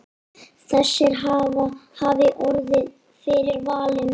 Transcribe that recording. Þessir hafi orðið fyrir valinu.